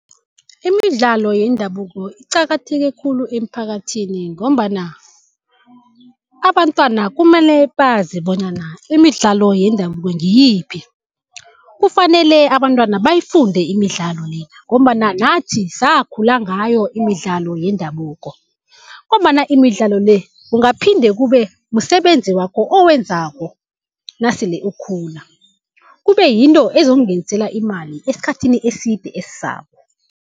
Imidlalo yendabuko iqakatheke khulu emphakathini, ngombana abantwana kumele bazi bonyana imidlalo yendabuko ngiyiphi. Kufanele abantwana bayifunde imidlalo le, ngombana nathi sakhula ngayo imidlalo yendabuko. Ngombana imidlalo le kungaphinde kube msebenzi wakho owenzako nasele ukhula, kube yinto ezokungenisela imali esikhathini eside esizako.